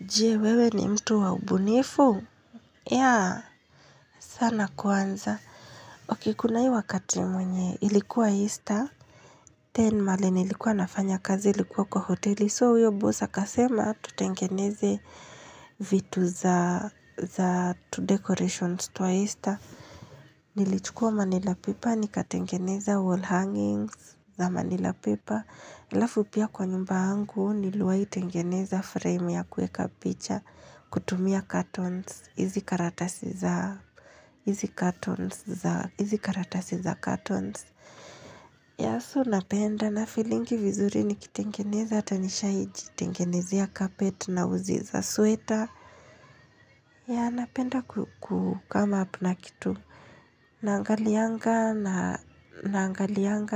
Je, wewe ni mtu wa ubunifu? Yeah, sana kwanza. Okay kuna hii wakati mwenye, ilikuwa Easter. Then mahali nilikuwa nafanya kazi ilikuwa kwa hoteli. So, huyo boss akasema tutengeneze vitu za tudecorations twa Easter. Nilichukua manila paper, nikatengeneza wall hangings za manila paper. Halafu pia kwa nyumba yangu niliwahi tengeneza frame ya kuweka picha kutumia cartons. Hizi karatasi za cartons. Yeah so napenda, nafeelingi vizuri nikitengeneza hata nishai jitengenezea carpet na uzi za sweta. Yeah napenda kucome up na kitu. Naangalianga